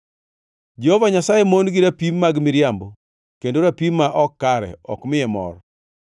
Jehova Nyasaye mon gi rapim mag miriambo, kendo rapim ma ok kare ok miye mor.